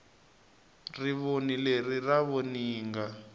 rivoni leri ra voninga